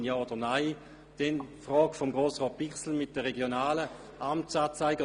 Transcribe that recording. Auch zu klären ist die Frage, die Grossrat Bichsel angesprochen hat, hinsichtlich der regionalen Amtsanzeiger.